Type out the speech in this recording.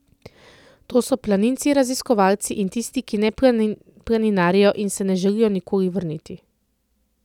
To so planinci, raziskovalci in tisti, ki ne planinarijo in se ne želijo nikoli vrniti.